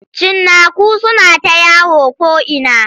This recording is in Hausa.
Cinnaku suna ta yawo ko'ina.